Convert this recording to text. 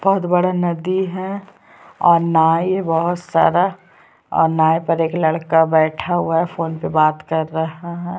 बहुत बड़ा नदी है और नाई बहुत सारा और नाई पर एक लड़का बैठा हुआ है फ़ोन पे बात कर रहा है।